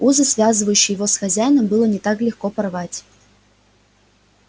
узы связывающие его с хозяином было не так легко порвать